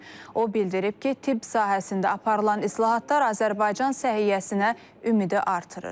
O bildirib ki, tibb sahəsində aparılan islahatlar Azərbaycan səhiyyəsinə ümidi artırır.